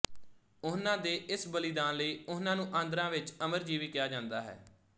ਉਹਨਾਂ ਦੇ ਇਸ ਬਲੀਦਾਨ ਲਈ ਉਹਨਾਂ ਨੂੰ ਆਂਧਰਾ ਵਿੱਚ ਅਮਰਜੀਵੀ ਕਿਹਾ ਜਾਂਦਾ ਹੈ